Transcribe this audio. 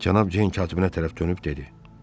Cənab Ceyn katibinə tərəf dönüb dedi.